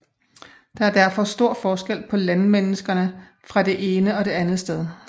Der er derfor stor forskel på landmenneskerne fra det ene og det andet sted